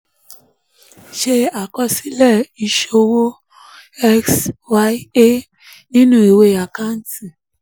ṣe àkọsílẹ̀ ìṣowó x y a nínú ìwé àkántì